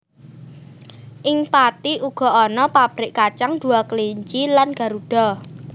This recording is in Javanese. Ing Pathi uga ana pabrik kacang Dua Kelinci lan Garuda